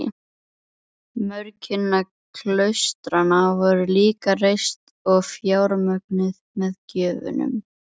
Mörg hinna klaustranna voru líka reist og fjármögnuð með gjöfum.